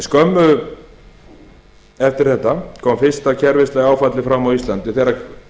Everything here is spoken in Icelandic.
skömmu eftir þetta kom fyrsta kerfislega áfallið fram á íslandi þegar